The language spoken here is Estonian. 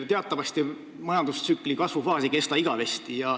Teatavasti ei kesta majandustsükli kasvufaas igavesti.